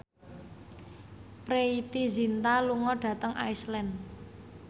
Preity Zinta lunga dhateng Iceland